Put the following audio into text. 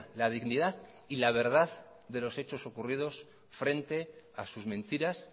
la dignidad y la verdad de los hechos ocurridos frente a sus mentiras